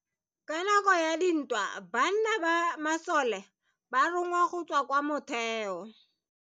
Ka nako ya dintwa banna ba masole ba rongwa go tswa kwa motheo.